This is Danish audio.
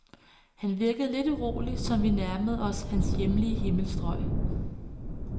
Han virkede lidt urolig, som vi nærmede os hans hjemlige himmelstrøg.